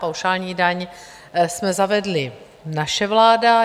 Paušální daň jsme zavedli, naše vláda.